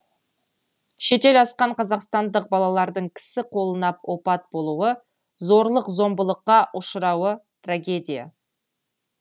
шетел асқан қазақстандық балалардың кісі қолынан опат болуы зорлық зомбылыққа ұшырауы трагедия